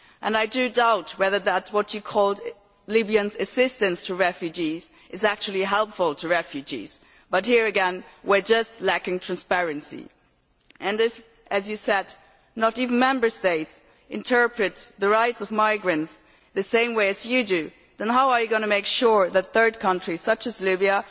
I doubt whether what you called Libya's assistance to refugees is actually helpful to refugees but here again, we are just lacking transparency and if, as you said, not even Member States interpret the rights of migrants the same way as you do, then how are you going to make sure that third countries such as Libya